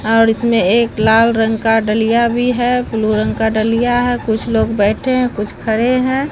और इसमें एक लाल रंग का डलिया भी है ब्लू रंग का डलिया है कुछ लोग बैठे हैं कुछ खड़े हैं।